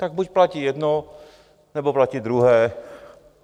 Tak buď platí jedno, nebo platí druhé.